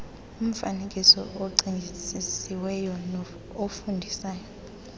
umfaneekiso ocingisisiweyo ofundisayo